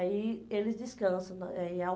Aí eles descansam né em